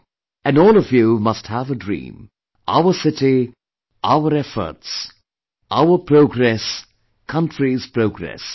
And all of you must have a dream 'Our city our efforts', 'Our progress country's progress'